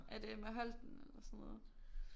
Er det Emma Holten eller sådan noget